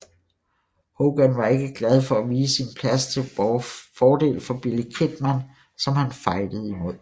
Hogan var ikke glad for at vige sin plads til fordel for Billy Kidman som han fejdede imod